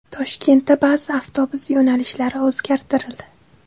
Toshkentda ba’zi avtobus yo‘nalishlari o‘zgartirildi.